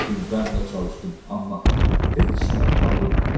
Var qüvvəmlə çalışdım, amma heç nə alınmır.